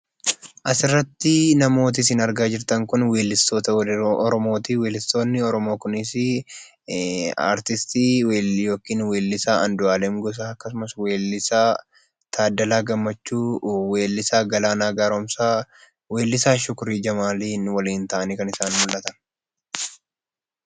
Asirratti kan isin argaa jirtan kun weellistoota weelluu Oromooti. Weellistoonnio Oromoo kunis artiistii yookaan weellisaa Aanduu'aalem Gosaa akkasumas weellisaa Taaddalaa Gammachuu, weellisaa Galaanaa Gaaromsaa, weellisaa Shukrii Jamaalii waliin ta'anii kan isaan mul'atan.